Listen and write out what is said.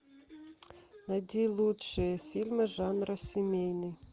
найти лучшие фильмы жанра семейный